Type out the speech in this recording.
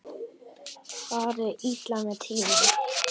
Fari illa með tímann.